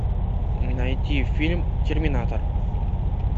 найти фильм терминатор